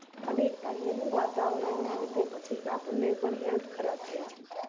અને અહીનું વાતાવરણ ના લીધે પછી આપણે પણ Health ખરાબ થાય છે